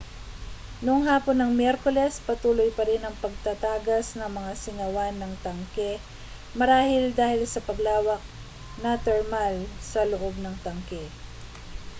noong hapon ng miyerkules patuloy parin ang pagtatagas ng mga singawan ng tanke marahil dahil sa paglawak na termal sa loob ng tanke